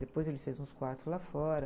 Depois ele fez uns quartos lá fora.